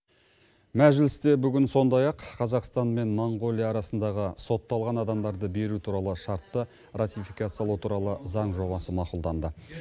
мәжілісте бүгін сондай ақ қазақстан мен моңғолия арасындағы сотталған адамдарды беру туралы шартты ратификациялау туралы заң жобасы мақұлданды